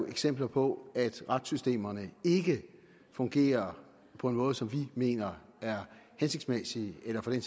eksempler på at retssystemerne ikke fungerer på en måde som vi mener er hensigtsmæssig eller for den